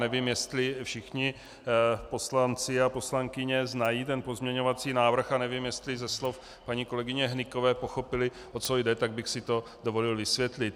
Nevím, jestli všichni poslanci a poslankyně znají ten pozměňovací návrh a nevím, jestli ze slov paní kolegyně Hnykové pochopili, o co jde, tak bych si to dovolil vysvětlit.